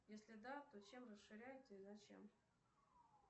если да то чем расширяется и зачем